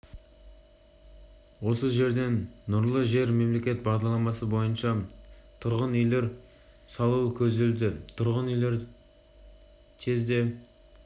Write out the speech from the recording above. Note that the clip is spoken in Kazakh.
осы жерден нұрлы жер мемлекеттік бағдарламасы бойынша тұрғын үйлер салу көзделуде тұрғын үйлерді тез де